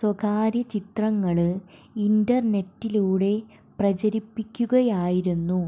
സ്വകാര്യ ചിത്രങ്ങള് ഇന്റര്നെറ്റിലൂടെ പ്രചരിപ്പിയ്ക്കുകയായിരുന്നു